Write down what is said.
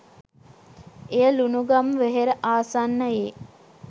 එය ලුණුගම්වෙහෙර ආසන්නයේ